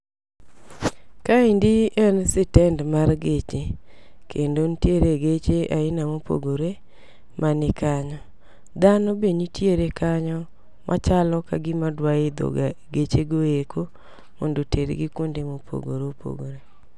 Kaeni en sitend mar geche, kendo nitiere geche aina mopogore ma ni kanyo. Dhano be nitiere kanyo machalo ka gima dwa idho ga geche go eko mondo otergi kuonde mopogore opogore.